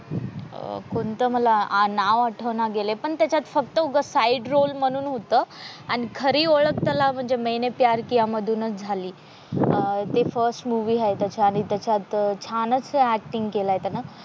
अह कोणतं मला नाव आठवण गेलाय पण त्याच्यात फक्त साईड रोल म्हणून होत आणि खरी ओळख म्हणजे त्याला मैंने प्यार किया मधूनच झाली अह ते फर्स्ट मूवी आहे त्याच आणि त्याच्यात छानच ऍक्टिंग केलं आहे त्याने.